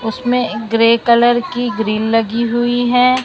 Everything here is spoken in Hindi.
उसमें एक ग्रे कलर की ग्रील लगी हुई है।